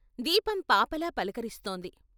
దీపం పాపలా పలకరిస్తోంది.